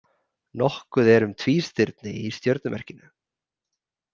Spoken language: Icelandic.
Nokkuð er um tvístirni í stjörnumerkinu.